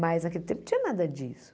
Mas naquele tempo não tinha nada disso.